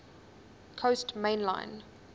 coast main line